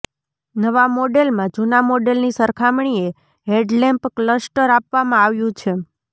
નવા મોડેલમાં જૂના મોડેલની સરખામણીએ હેડલેમ્પ ક્લસ્ટર આપવામાં આવ્યું છે